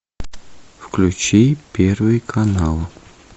включи первый канал